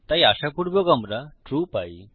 তাই আশাপুর্বক আমরা ট্রু পাই